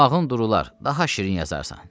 Damağın durular, daha şirin yazarsan.